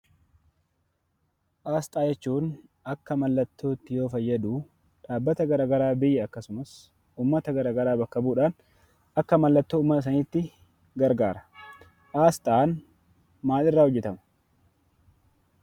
Aasxaa jechuun akka mallattootti yoo fayyaduu dhaabbata garaa garaa biyya akkasumas uummata garaa garaa bakka bu'uudhaan akka mallattoo uummata saniitti gargaara. Aasxaan maal irraa hojjetama?